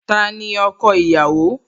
Tani ọkọ ìyàwó?